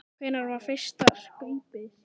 Hvenær var fyrsta skaupið sýnt?